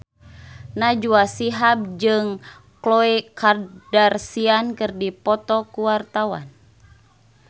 Najwa Shihab jeung Khloe Kardashian keur dipoto ku wartawan